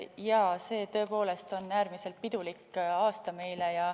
Jaa, see on tõepoolest meile äärmiselt pidulik aasta.